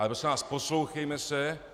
Ale prosím vás, poslouchejme se.